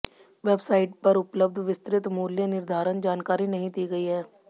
website पर उपलब्ध विस्तृत मूल्य निर्धारण जानकारी नहीं दी गई है